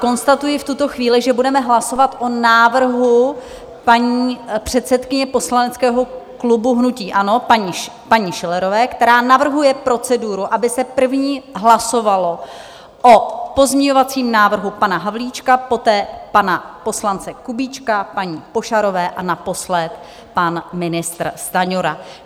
Konstatuji v tuto chvíli, že budeme hlasovat o návrhu paní předsedkyně poslaneckého klubu hnutí ANO, paní Schillerové, která navrhuje proceduru, aby se první hlasovalo o pozměňovacím návrhu pana Havlíčka, poté pana poslance Kubíčka, paní Pošarové a naposled pan ministr Stanjura.